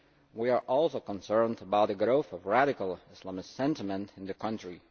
We are also concerned about the growth of radical Islamist sentiment in the country.